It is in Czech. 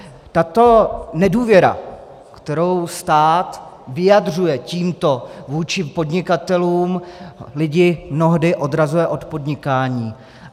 Tato nedůvěra, kterou stát vyjadřuje tímto vůči podnikatelům, lidi mnohdy odrazuje od podnikání.